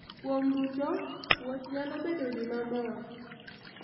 Kuom duto, wuoth ​​nyalo bedo gima mor .